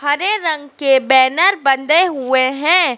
हरे रंग के बैनर बंदे हुए हैं।